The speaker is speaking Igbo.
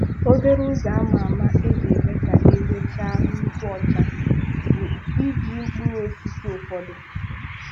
Obere ụzọ ama ama iji mee ka eze gị chaa nnukwu ọcha bụ iji mkpụrụ osisi ụfọdụ.